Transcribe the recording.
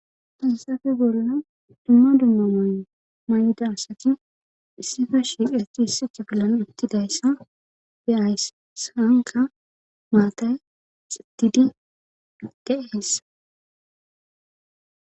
fansafe golna dumma dumma mayo may7da asati issifa shiiqacti hissicha gillana uttidayssa beayss saanka maatay xitidi qadde heessa